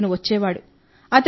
అప్పుడు అతను వచ్చేవాడు